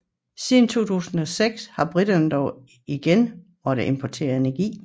Siden 2006 har briterne dog igen måttet importere energi